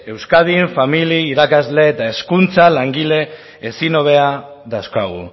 euskadin familia irakasle eta hezkuntza langile ezin hobeak dauzkagu